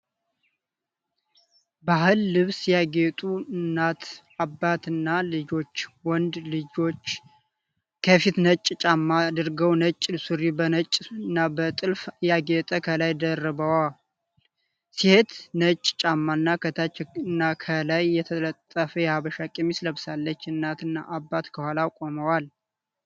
በባህል ልብስ ያጌጡ እናት፣ አባት እና ልጆች ፤ ወንድ ልጆች ከፊት ነጭ ጫማ አድርገዉ ነጭ ሱሪ በነጭና በጥልፍ ያጌጠ ከላይ ደርበዋል። ሴቷ ነጭ ጫማ እና ከታች እና ከላይ የተጠለፈ የሀበሻ ቀሚስ ለብሳለች። እናት እና አባት ከኋላ ቆመዋል።